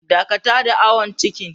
Dakata da awon cikin.